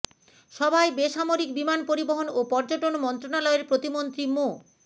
সভায় বেসামরিক বিমান পরিবহন ও পর্যটন মন্ত্রণালয়ের প্রতিমন্ত্রী মো